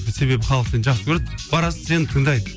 себебі халық сені жақсы көреді барасың сені тыңдайды